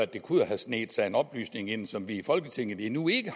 der kunne have sneget sig en oplysning ind som vi i folketinget endnu ikke